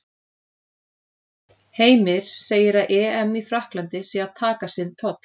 Heimir segir að EM í Frakklandi sé að taka sinn toll.